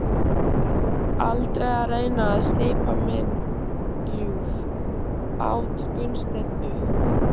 Aldrei að reyna að slípa minn ljúf, át Gunnsteinn upp.